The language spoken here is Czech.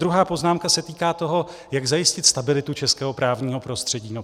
Druhá poznámka se týká toho, jak zajistit stabilitu českého právního prostředí.